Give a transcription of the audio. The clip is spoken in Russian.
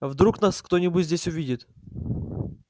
вдруг нас кто-нибудь здесь увидит